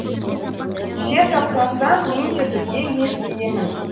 сен тапталсаң мен де бірге езілемін